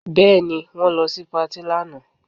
Bẹ́ẹ̀ ni, wọ́n lọ sí patí lánàá